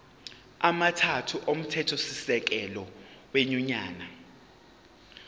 amathathu omthethosisekelo wenyunyane